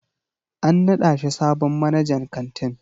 An naɗa shi sabon manajan kantin.